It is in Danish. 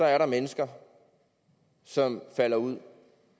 er der mennesker som falder ud